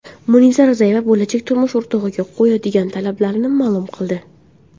Munisa Rizayeva bo‘lajak turmush o‘rtog‘iga qo‘yadigan talablarini ma’lum qildi.